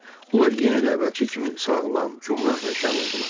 Onlar yenə də əvvəlki kimi sağlam, gümrah və şən oldular.